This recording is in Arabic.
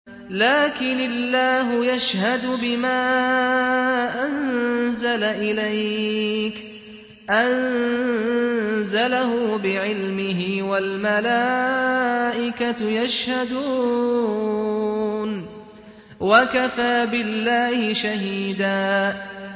لَّٰكِنِ اللَّهُ يَشْهَدُ بِمَا أَنزَلَ إِلَيْكَ ۖ أَنزَلَهُ بِعِلْمِهِ ۖ وَالْمَلَائِكَةُ يَشْهَدُونَ ۚ وَكَفَىٰ بِاللَّهِ شَهِيدًا